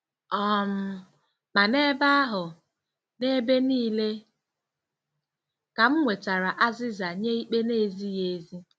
um Ma n'ebe ahụ, n'ebe nile, ka m nwetara azịza nye ikpe na-ezighị ezi.